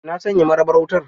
Na sanya marabar wutar?